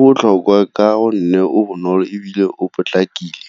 botlhokwa ka gonne o bonolo ebile o potlakile.